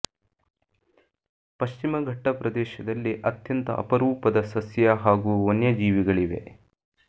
ಪಶ್ಚಿಮ ಘಟ್ಟ ಪ್ರದೇಶದಲ್ಲಿ ಅತ್ಯಂತ ಅಪರೂಪದ ಸಸ್ಯ ಹಾಗೂ ವನ್ಯಜೀವಿಗಳಿವೆ